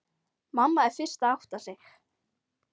Mamma er fyrst að átta sig: